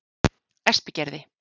Espigerði